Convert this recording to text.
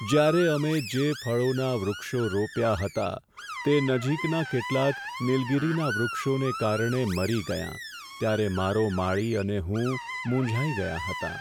જ્યારે અમે જે ફળોના વૃક્ષો રોપ્યા હતા તે નજીકના કેટલાક નીલગિરીના વૃક્ષોને કારણે મરી ગયાં, ત્યારે મારો માળી અને હું મૂંઝાઈ ગયાં હતાં.